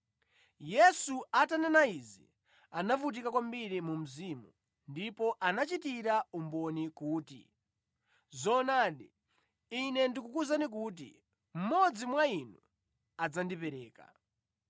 Yesu atanena izi, anavutika kwambiri mu mzimu ndipo anachitira umboni kuti, “Zoonadi, Ine ndikukuwuzani kuti mmodzi mwa inu adzandipereka.”